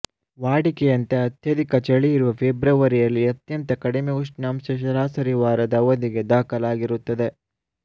ವಾಡಿಕೆಯಂತೆ ಅತ್ಯಧಿಕ ಚಳಿ ಇರುವ ಫೆಬ್ರವರಿಯಲ್ಲಿ ಅತ್ಯಂತ ಕಡಿಮೆ ಉಷ್ಣಾಂಶ ಸರಾಸರಿ ವಾರದ ಅವಧಿಗೆ ದಾಖಲಾಗಿರುತ್ತದೆ